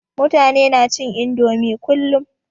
Mutani na cin indomie kullum